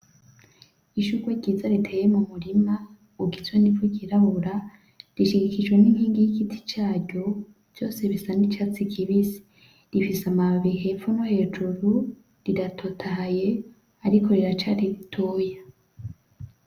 Ishugwe ryiza riteye mu murima ugizwe n'ivu ry'irabura, rishigikijwe n'inkingi y'igiti caryo vyose bisa n'icatsi kibisi rifise amababi hepfo no hejuru riratotahaye ariko riracari ritoya.